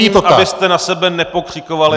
Já prosím, abyste na sebe nepokřikovali.